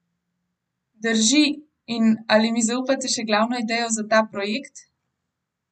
Drži in ali mi zaupate še glavno idejo za ta projekt?